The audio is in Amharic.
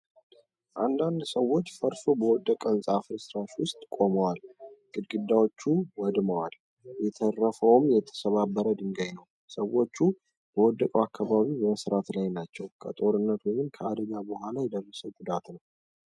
አንዳንድ ሰዎች ፈርሶ በወደቀ ሕንጻ ፍርስራሽ ውስጥ ቆመዋል። ግድግዳዎቹ ወድመዋል፣ የተረፈውም የተሰባበረ ድንጋይ ነው። ሰዎች በወደቀው አካባቢ በመሥራት ላይ ናቸው። ከጦርነት ወይም ከአደጋ በኋላ የደረሰ ጉዳት ነው።